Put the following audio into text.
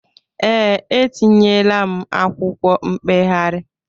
Ee, etinyeela m akwụkwọ mkpegharị.